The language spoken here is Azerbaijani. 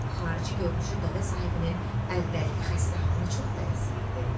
Xarici görünüşü dəvə sahibinin əvvəlki xəstə halına çox bənzəyirdi.